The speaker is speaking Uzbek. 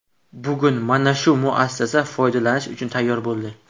Bugun mana shu muassasa foydalanish uchun tayyor bo‘ldi.